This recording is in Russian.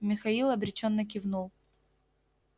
михаил обречённо кивнул